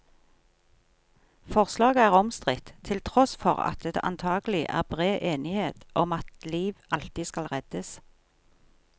Forslaget er omstridt, til tross for at det antagelig er bred enighet om at liv alltid skal reddes.